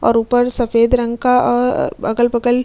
और ऊपर सफेद रंग का अ अगल-बगल --